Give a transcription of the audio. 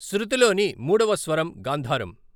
శృతిలోని మూడవ స్వరం గాంధారం.